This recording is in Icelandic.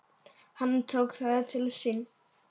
Hann tók það til sín